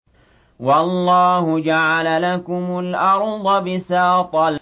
وَاللَّهُ جَعَلَ لَكُمُ الْأَرْضَ بِسَاطًا